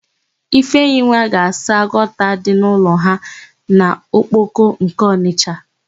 Ifeyinwa ga-asa gọta dị n'ụlọ ha n'Okpoko nke Ọnịsha.